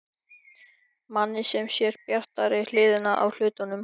Manni sem sér bjartari hliðina á hlutunum.